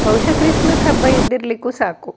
ಬಹುಶ ಕ್ರಿಸ್ಮಸ್ ಹಬ್ಬ ಇದ್ದಿರಲಿಕ್ಕೂ ಸಾಕು.